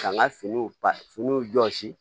Ka n ka finiw ba finiw jɔsi